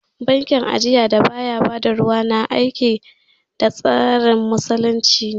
Bankin ajiya da baya ba da ruwa, na aiki da tsarin Musulunci ne